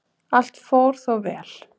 Allt fór þó vel